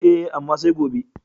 E, amma sai gobe.